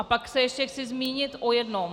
A pak se ještě chci zmínit o jednom.